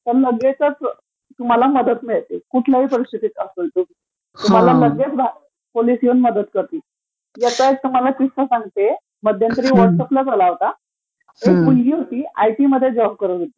लगेचचं तुम्हाला मदत मिळते तुम्ही कुठल्याही परिस्थितीत असाल तरी, लगेच पोलिस येऊन मदत करतील, ह्याचा तुम्हाला किस्सा सांगते, मध्यंतरी व्हॉटसऍपलाच आला होता, एक मुलगी होती, आयटीमध्ये जॉब करत होती,